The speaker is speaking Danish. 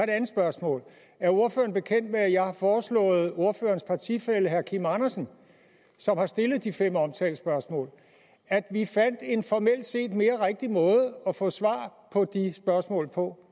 andet spørgsmål er ordføreren bekendt med at jeg har foreslået ordførerens partifælle herre kim andersen som har stillet de fem omtalte spørgsmål at vi fandt en formelt set mere rigtig måde at få svar på de spørgsmål på